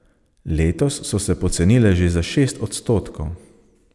Letos so se pocenile že za šest odstotkov.